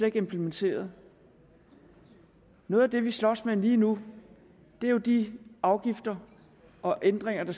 ikke implementeret noget af det vi slås med lige nu er jo de afgifter og ændringer der